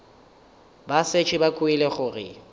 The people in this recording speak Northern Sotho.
ba šetše ba kwele gore